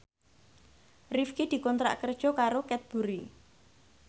Rifqi dikontrak kerja karo Cadbury